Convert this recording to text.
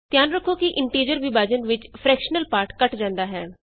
ਧਿਆਨ ਰਖੋ ਕਿ ਇੰਟੀਜ਼ਰ ਵਿਭਾਜਨ ਵਿਚ ਫਰਕੈਸ਼ਨਲ ਪਾਰਟ ਕੱਟ ਜਾਂਦਾ ਹੈ